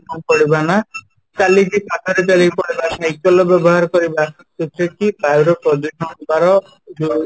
କ'ଣ କରିବା ନା ଚାଲିକି ପାଖ ରେ ଚାଲିକି ପଳେଇବା cycle ର ବ୍ୟବହାର କରିବା ଯୋଉଥିରେ କି ବାୟୁ ର ପ୍ରଦୂଷଣ ହେବାର